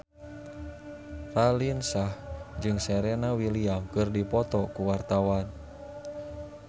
Raline Shah jeung Serena Williams keur dipoto ku wartawan